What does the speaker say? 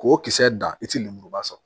K'o kisɛ dan i ti lemuruba sɔrɔ